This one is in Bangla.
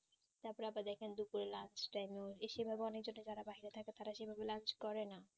তারপর আবা দেখেন lunch time এ এসে অনেকজনে বাহিরে থাকে তারা সেভাবে lunch করে না